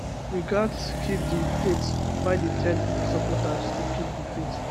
we gatz keep di faithbiden tell im supporters to keep di faith